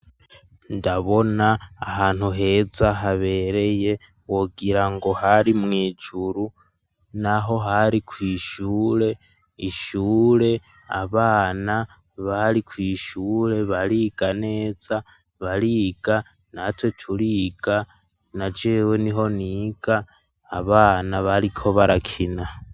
Ndabona ahantu heza habereye wogira ngo hari mwijuru naho hari ku ishure. Ishure abana bari ku ishure bariga neza bariga na twe turiga najewe niho niga abana bariko barakina.